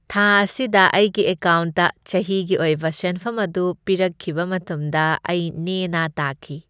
ꯊꯥ ꯑꯁꯤꯗ ꯑꯩꯒꯤ ꯑꯦꯀꯥꯎꯟꯠꯇ ꯆꯍꯤꯒꯤ ꯑꯣꯏꯕ ꯁꯦꯟꯐꯝ ꯑꯗꯨ ꯄꯤꯔꯛꯈꯤꯕ ꯃꯇꯝꯗ ꯑꯩ ꯅꯦꯅꯥ ꯇꯥꯈꯤ꯫